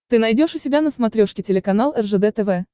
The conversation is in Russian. ты найдешь у себя на смотрешке телеканал ржд тв